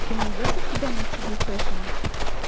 ты найдешь у себя на ти ви фешн